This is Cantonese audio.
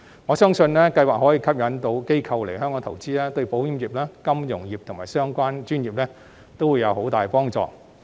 我相信，此計劃可以吸引到機構來香港投資，對保險業、金融業及相關專業都會有很大幫助。